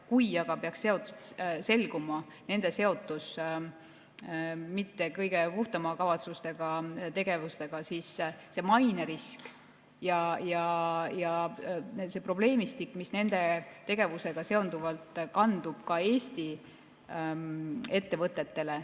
Kui aga peaks selguma nende seotus mitte kõige puhtamate kavatsustega tegevustega, siis see mainerisk ja see probleemistik, mis nende tegevusega seondub, kandub ka Eesti ettevõtetele.